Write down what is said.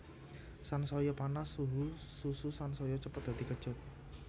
Sansaya panas suhu susu sansaya cepet dadi kecut